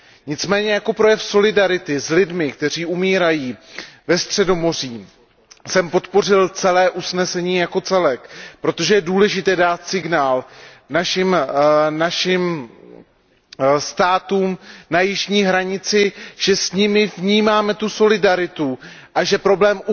Nicméně jako projev solidarity s lidmi, kteří umírají ve Středomoří, jsem podpořil celé usnesení jako celek, protože je důležité dát signál našim státům na jižní hranici, že s nimi vnímáme tu solidaritu a že problém